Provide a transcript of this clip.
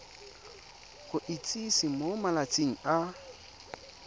go itsise mo malatsing a